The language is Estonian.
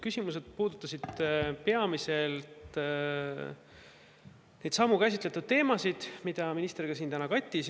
Küsimused puudutasid peamiselt neidsamu käsitletud teemasid, mida minister ka siin täna kattis.